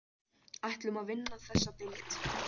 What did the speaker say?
Ætlum að vinna þessa deild